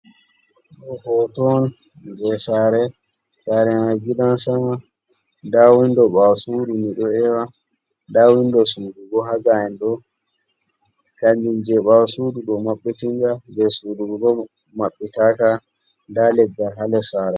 Ɗo hoto on jei sare, sare mai gidan sama. Nda windo ɓaawo sudu miɗo ewa. Nda windo sudu bo ha gaa'en ɗo. Kanjum jei ɓaawo sudu ɗo mabbitinga, jei sudu bo maɓɓita ka, nda leggal ha ndes sare.